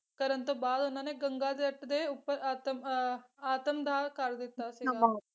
ਕਰਨ ਤੋਂ ਬਾਅਦ ਉਹਨਾਂ ਨੇ ਗੰਗਾ ਜਰਤ ਦੇ ਉੱਪਰ ਆਤਮ ਅਹ ਆਤਮਦਾਹ ਕਰ ਦਿੱਤਾ ਸੀਗਾ